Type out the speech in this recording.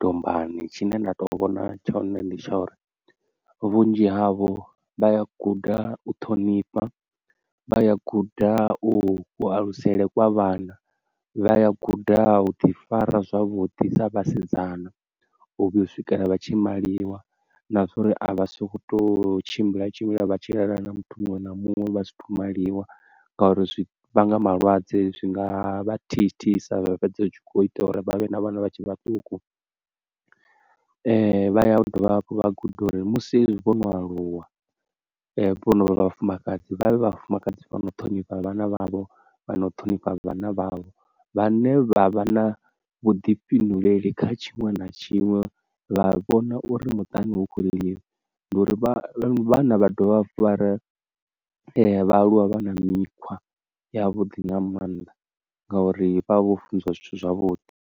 dombani, tshine nda to vhona tshone ndi tsha uri vhunzhi havho vha ya guda u ṱhonifha, vha ya guda u ku alusele kwa vhana, vha ya guda u ḓi fara zwavhuḓi sa vhasidzana u vhuya u swikela vha tshi maliwa, na zwa uri a vha soko to tshimbila tshimbila vha tshi lala na muthu muṅwe na muṅwe vha sa athu maliwa, ngauri zwi vhanga malwadze. Zwinga vha thithisa vha fhedza hu tshi kho ita uri vhavhe na vhana vha tshe vhaṱuku, vha ya u dovha hafhu vha guda uri musi hezwi vho no aluwa vhono vha vhafumakadzi vha vhe vhafumakadzi vhano ṱhonifha vhana vhavho vha nau ṱhonifha vhana vhavho, vhane vha vha na vhuḓifhinduleli kha tshiṅwe na tshiṅwe vha vhona uri muṱani hu khou ḽiwa ngauri vha vhana vha dovha fara vha aluwa vha na mikhwa ya vhuḓi nga mannḓa ngauri vha vha vho funziwa zwithu zwavhuḓi.